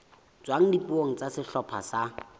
tswang dipuong tsa sehlopha sa